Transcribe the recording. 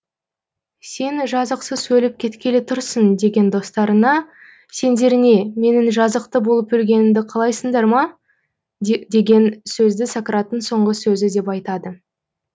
сен жазықсыз өліп кеткелі тұрсың деген достарына сендер не менің жазықты болып өлгенімді қалайсыңдар ма деген сөзді сократтың соңғы сөзі деп айтады